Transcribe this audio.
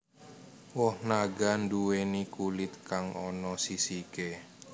Woh naga nduwèni kulit kang ana sisiké